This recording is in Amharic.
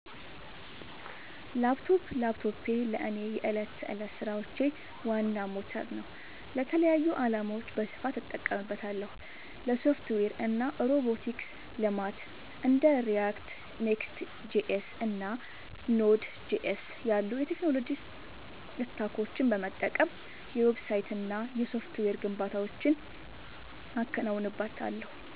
ላፕቶፕ ላፕቶፔ ለእኔ የዕለት ተዕለት ሥራዎቼ ዋና ሞተር ነው። ለተለያዩ ዓላማዎች በስፋት እጠቀምበታለሁ - ለሶፍትዌር እና ሮቦቲክስ ልማት እንደ React፣ Next.js እና Node.js ያሉ የቴክኖሎጂ ስታኮችን በመጠቀም የዌብሳይትና የሶፍትዌር ግንባታዎችን አከናውንበታለሁ።